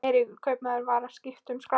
Eiríkur kaupmaður var að skipta um skrá.